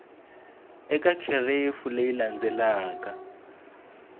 eka kherefu leyi landzelaka ku